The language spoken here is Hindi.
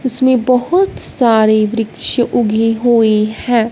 उसमें बहोत सारी वृक्ष उगी हुई है।